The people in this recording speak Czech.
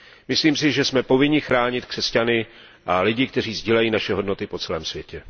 Myslím si, že jsme povinni chránit křesťany a lidi, kteří sdílejí naše hodnoty po celém světě.